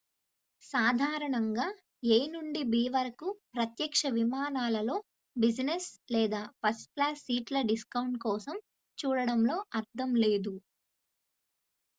సాధారణంగా a నుండి b వరకు ప్రత్యక్ష విమానాలలో బిజినెస్ లేదా ఫస్ట్-క్లాస్ సీట్ల డిస్కౌంట్ కోసం చూడడంలో అర్ధం లేదు